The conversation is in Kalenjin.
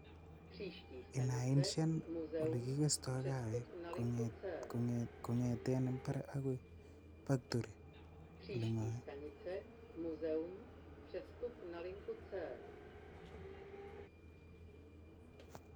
Inainsian olekigesto kaawek kong'eten imbar agoi factory ole ng'oe.